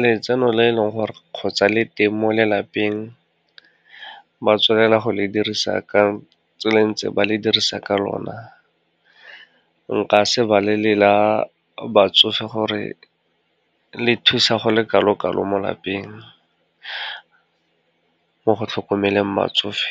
letseno le e leng gore kgotsa le teng mo lelapeng, ba tswanela go le dirisa ka tsela e ntse ba le dirisa ka lona, nka se balele la batsofe gore le thusa go le kalo-kalo mo lapeng, mo go tlhokomeleng batsofe.